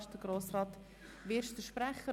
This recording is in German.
Auch hier ist Grossrat Wyrsch der Sprecher.